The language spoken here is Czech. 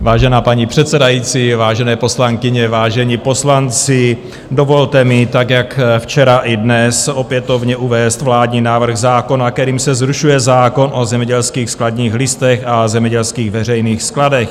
Vážená paní předsedající, vážené poslankyně, vážení poslanci, dovolte mi, tak jako včera, i dnes opětovně uvést vládní návrh zákona, kterým se zrušuje zákon o zemědělských skladních listech a zemědělských veřejných skladech.